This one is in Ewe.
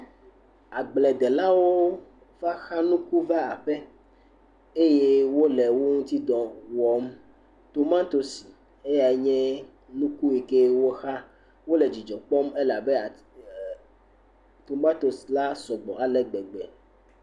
Agbledelawo va xa nuku va aƒe eye wole wo ŋuti dɔ wɔm. tomantosi eyea nye ku siwo xa. Wole dzidzɔ kpɔm elabe eh tomatosi la sɔgbɔ alegbegbe